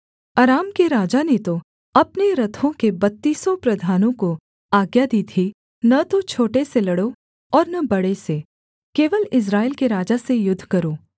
अराम के राजा ने तो अपने रथों के बत्तीसों प्रधानों को आज्ञा दी थी न तो छोटे से लड़ो और न बड़े से केवल इस्राएल के राजा से युद्ध करो